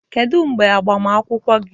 Kedu mgbe agbamakwụkwọ gị?